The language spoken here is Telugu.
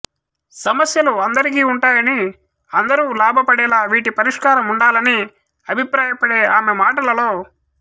సమస్యలు అందరికీ ఉంటాయని అందరూ లాభపడేలా వీటి పరిష్కారం ఉండాలని అభిప్రాయపడే ఆమె మాటలలో